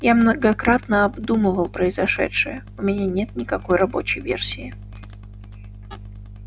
я многократно обдумывал произошедшее у меня нет никакой рабочей версии